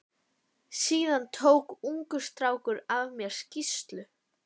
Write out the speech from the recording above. Síðan tók ungur strákur af mér skýrslu.